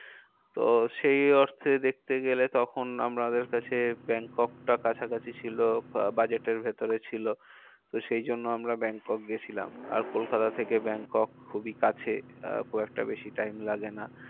তো সেই অর্থে দেখতে গেলে তখন আমাদের কাছে ব্যাংককটা কাছাকাছি ছিল আহ budget এর ভেতরে ছিল। তো সেই জন্য আমরা ব্যাংকক গিয়েছিলাম। আর কলকাতা থেকে ব্যাংকক খুবই কাছে আহ খুব একটা বেশি time লাগে না।